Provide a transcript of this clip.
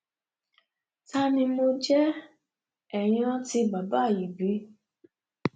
ta ni mo jẹ